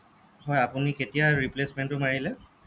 হ'য় আপুনি কেতিয়া replacement টো মাৰিলে